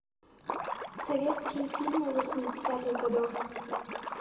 советские фильмы восьмидесятых годов